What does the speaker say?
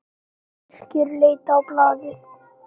Birkir leit á blaðið.